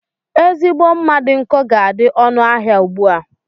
Ezigbo mma dị nkọ ga adị ọnụ ahịa ugbua.